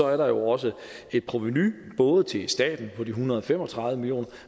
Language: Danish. er der også et provenu både til staten på en hundrede og fem og tredive million